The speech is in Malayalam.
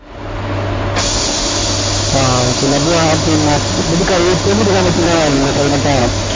ആഹ് okay ഇത് പിന്നെ